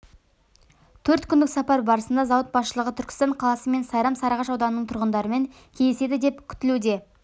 төрт күндік сапар барысында зауыт басшылығы түркістан қаласы мен сайрам сарыағаш ауданының тұрғындарымен кездеседі деп күтілуде